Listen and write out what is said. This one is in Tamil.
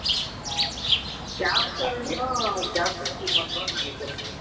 ஆஹ் ஷ்யாம்சரன் தான் captainship வாங்குவானு நினைக்கிறேன்